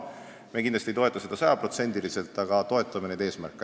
Me kindlasti ei toeta seda sajaprotsendiliselt, aga toetame neid eesmärke.